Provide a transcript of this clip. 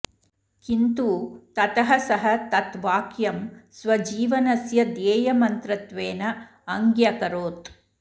किन्तु ततः सः तत् वाक्यं स्वजीवनस्य ध्येयमन्त्रत्वेन अङ्ग्यकरोत्